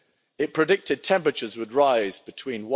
It predicted temperatures would rise between